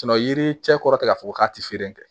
yiri cɛ kɔrɔ tɛ k'a fɔ ko k'a tɛ feere kɛ